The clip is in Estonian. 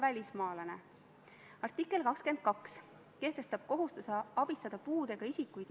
Veel kord, ma juhin tähelepanu, et eelnõu esitas valitsus, kuhu kuulub ka EKRE.